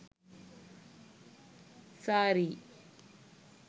saree